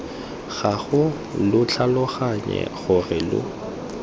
gago lo tlhaloganye gore lo